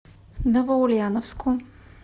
новоульяновску